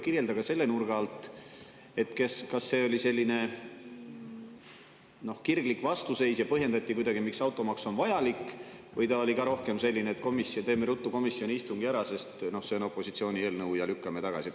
Kirjelda ka selle nurga alt, kas see oli selline kirglik vastuseis ja kuidagi põhjendati, miks automaks on vajalik, või see oli ka rohkem nii, et teeme komisjoni istungi ruttu ära, sest see on opositsiooni eelnõu, ja lükkame tagasi.